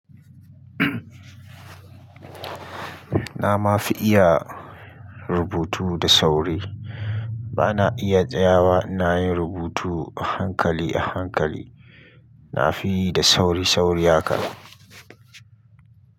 Na ma fi iya rubutu da sauri. Ba na iya tsayawa, ina yin rubutu a hankali a hankali. Nafi yi da sauri-sauri haka.